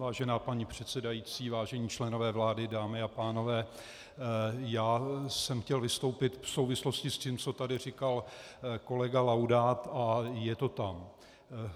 Vážená paní předsedající, vážení členové vlády, dámy a pánové, já jsem chtěl vystoupit v souvislosti s tím, co tady říkal kolega Laudát, a je to tam.